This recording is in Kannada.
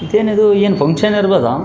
ಇದೇನಿದು ಏನ್ ಫಂಕ್ಷನ್ ನಡ್ದಾದ .